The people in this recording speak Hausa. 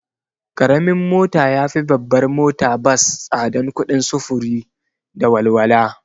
Karamin mota yafi babbar mota bas tsadan kuɗin sufuru da walwala